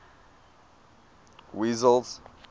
wessels